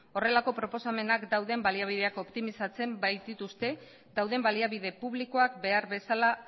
horrelako proposamenak dauden baliabideak optimizatzen baitituzte dauden baliabide publikoak behar bezala